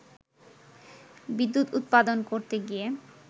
বিদ্যুৎ উৎপাদন করতে গিয়ে